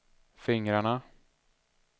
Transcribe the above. fingrarna